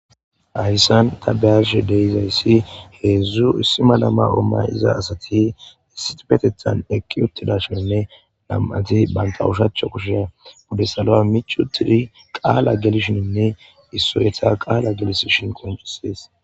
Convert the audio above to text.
Ayssan ta beyarshe deizayssi heedzdzu issima lama ommay iza asati isitipetethan eqqi uttidashonne nam7ati banta ushacha kushea bude salo mich uttidi qaala gelishininne issoyetha qaala gelisishin koncisees.